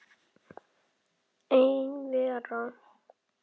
Ein vera.